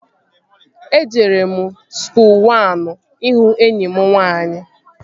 Ejere m skuul wan ịhụ enyi m nwaanyị